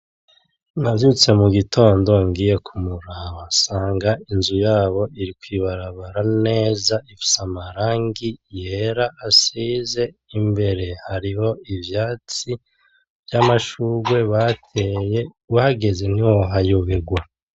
Navyutse mu gitondo ngiye kumuraba nsanga inzu yabo iri kwibarabara neza, ifise amarangi yera asize imbere. Hariho ivyatsi vy'amashugwe bateye, uhageze ntiwohayobegwa.